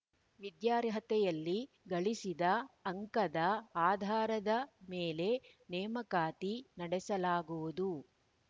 ವಿದ್ಯಾರ್ಹತೆಯಲ್ಲಿ ಗಳಿಸಿದ ಅಂಕದ ಆಧಾರದ ಮೇಲೆ ನೇಮಕಾತಿ ನಡೆಸಲಾಗುವುದು